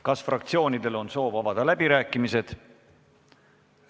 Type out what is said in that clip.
Kas fraktsioonidel on soovi avada läbirääkimisi?